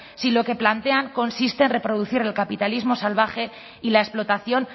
si lo que plantean consiste en reproducir el capitalismo salvaje y la explotación